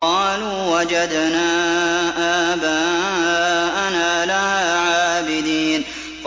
قَالُوا وَجَدْنَا آبَاءَنَا لَهَا عَابِدِينَ